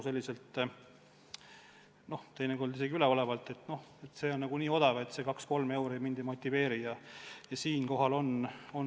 Teinekord kõlab see isegi üleolevalt: prügivedu on nii odav, see kaks-kolm euri mind sorteerima küll ei motiveeri.